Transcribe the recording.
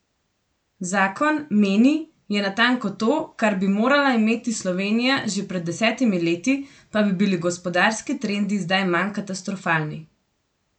Zakon, meni, je natanko to, kar bi morala imeti Slovenija že pred desetimi leti, pa bi bili gospodarski trendi zdaj manj katastrofalni.